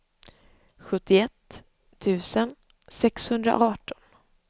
sjuttioett tusen sexhundraarton